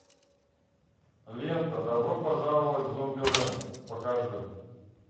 лента добро пожаловать в зомбилэнд покажи